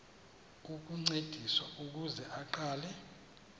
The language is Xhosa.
ukuncediswa ukuze aqale